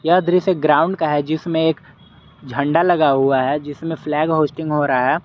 यह दृश्य ग्राउंड का है जिसमें एक झंडा लगा हुआ है जिसमें फ्लैग होस्टिंग हो रहा है।